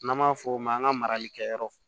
N'an b'a fɔ o ma an ka marali kɛyɔrɔ